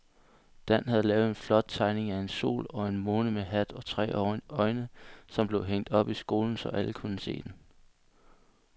Dan havde lavet en flot tegning af en sol og en måne med hat og tre øjne, som blev hængt op i skolen, så alle kunne se den.